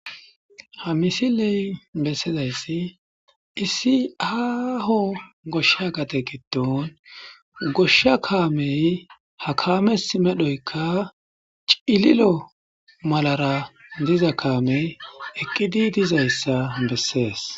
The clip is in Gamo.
Ha missile besizayssi issi aaho goshsha gade gidon goshsha kamme ha kamessi medhoykka cilillo malara dizza kamme eqqidi dei'zzayssa besses.